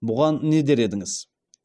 бұған не дер едіңіз